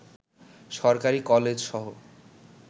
সরকারি কলেজসহ